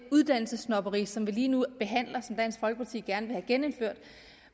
uddannelsessnobberi som vi lige nu behandler og som dansk folkeparti gerne vil have genindført